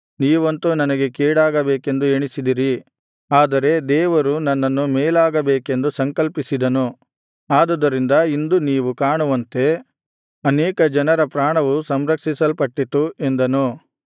ನೀವಂತೂ ನನಗೆ ಕೇಡಾಗಬೇಕೆಂದು ಎಣಿಸಿದಿರಿ ಆದರೆ ದೇವರು ನನ್ನನ್ನು ಮೇಲಾಗಬೇಕೆಂದು ಸಂಕಲ್ಪಿಸಿದನು ಆದುದರಿಂದ ಇಂದು ನೀವು ಕಾಣುವಂತೆ ಅನೇಕ ಜನರ ಪ್ರಾಣವು ಸಂರಕ್ಷಿಸಲ್ಪಟ್ಟಿತ್ತು ಎಂದನು